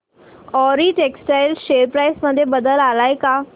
Arrow Textiles share price मध्ये बदल आलाय का